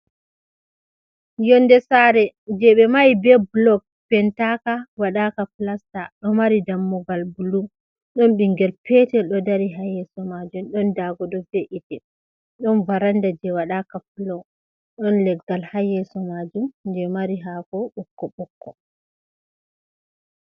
Yonde sare je ɓe mahi be blog pentaka waɗa ka plasta, ɗo mari dammugal bulu ɗon ɓingel petel ɗo dari ha yesso majum ɗon dago ɗo fe’ite ɗon varanda je waɗaka plau ɗon leggal ha yeso majum je mari hako ɓokko ɓokko.